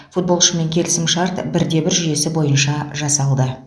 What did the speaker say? футболшымен келісімшарт бір де бір жүйесі бойынша жасалды